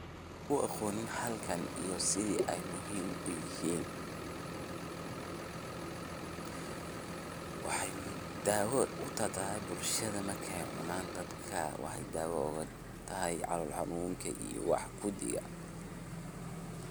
Kuwa aqoonin halkan iyo setha ay muhim u yahin, waxay daawo u daahtahay bulshada marka cuunan dadka daawo u tahay calol xanunka iyo wax guudi.